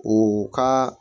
U ka